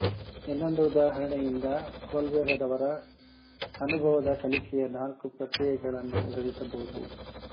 ಇನ್ನೊಂದು ಉದಾಹರಣೆಯಿಂದ ಕೊಲ್ಬೆರವರ ಅನುಭವದ ಕಲಿಕೆಯ ನಾಲ್ಕು ಪ್ರಕ್ರಿಯೆಗಳನ್ನು ವಿವರಿಸಬಹುದು